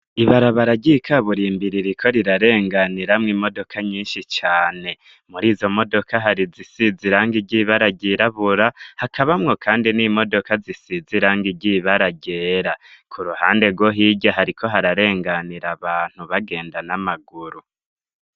Ibarabararyiikaburaimbiririko rirarenganiramwo imodoka nyinshi cane muri izo modoka harizisizirange iryibara ryirabura hakabamwo, kandi n'imodoka zisiz irange iryibararyera ku ruhande rwo hirya hariko hararenganira abantu bagenda n'amaguru.